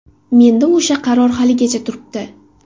Menda o‘sha qaror haligacha turibdi.